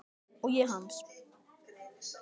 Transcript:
Og ég hans.